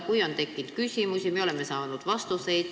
Kui on tekkinud küsimusi, siis me oleme saanud vastuseid.